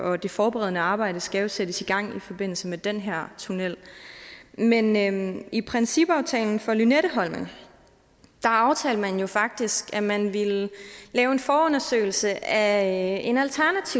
og det forberedende arbejde skal jo sættes i gang i forbindelse med den her tunnel men men i principaftalen for lynetteholmen aftalte man faktisk at man ville lave en forundersøgelse af